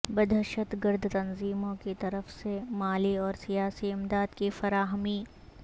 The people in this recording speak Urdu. ںدہشت گرد تنظیموں کی طرف سے مالی اور سیاسی امداد کی فراہمی